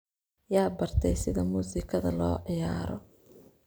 Yaa bartey sidha musikadha loociyaro?